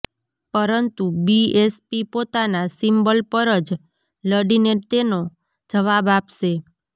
પરંતુ બીએસપી પોતાના સિમ્બલ પર જ લડીને તેનો જવાબ આપશે